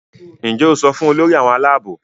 Njé o so fún Olórí àwọn Àlàabò?